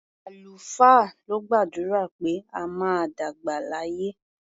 Àlùfáà ló gbàdúrà pé a máa dàgbà láyé.